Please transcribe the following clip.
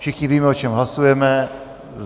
Všichni víme, o čem hlasujeme.